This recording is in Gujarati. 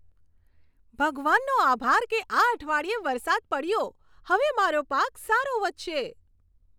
ભગવાનનો આભાર કે આ અઠવાડિયે વરસાદ પડ્યો. હવે મારો પાક સારો વધશે.